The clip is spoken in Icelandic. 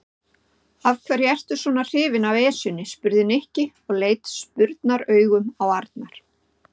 Af hverju ertu svona hrifinn af Esjunni? spurði Nikki og leit spurnaraugum á Arnar.